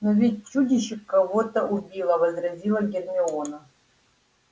но ведь чудище кого-то убило возразила гермиона